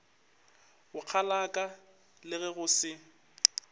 bokgalaka le ge go se